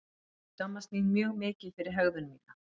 Ég skammast mín mjög mikið fyrir hegðun mína.